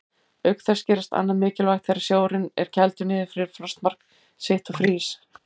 Auk þess gerist annað mikilvægt þegar sjórinn er kældur niður fyrir frostmark sitt og frýs.